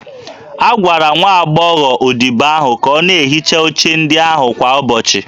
A gwara nwa agbọghọ odibo ahụ ka ọ na-ehicha oche ndị ahụ kwa ụbọchị